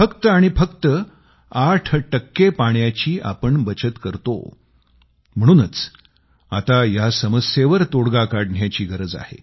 फक्त आणि फक्त आठ टक्के पाण्याची बचत आपण करतो म्हणूनच आता या समस्येवर तोडगा काढण्याची गरज आहे